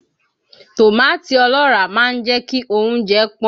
Tòmátì ọlọ́ràá máa ń jẹ́ kí oúnjẹ pọ́n